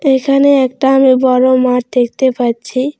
এখানে একটা আমি বড়ো মাঠ দেখতে পাচ্ছি।